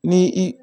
Ni i